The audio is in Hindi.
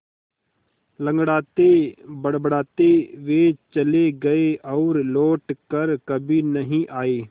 लँगड़ाते बड़बड़ाते वे चले गए और लौट कर कभी नहीं आए